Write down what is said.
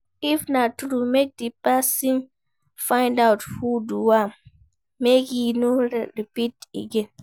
If na true make di persin find out who do am make e no repeat again